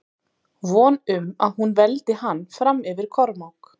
Von um að hún veldi hann fram yfir Kormák.